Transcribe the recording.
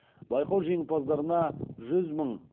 байқау жеңімпаздарына жүз мың